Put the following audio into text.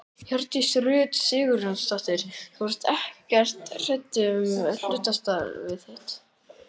Hjördís Rut Sigurjónsdóttir: Þú ert ekkert hræddur um hlutastarfið þitt?